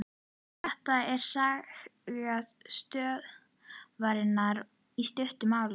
Þetta er saga stöðvarinnar í stuttu máli.